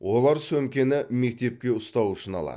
олар сөмкені мектепке ұстау үшін алады